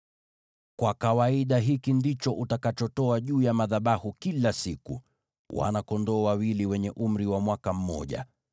“Kwa kawaida hiki ndicho utakachotoa juu ya madhabahu kila siku: wana-kondoo wawili wenye umri wa mwaka mmoja.